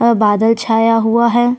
और बादल छाया हुआ है।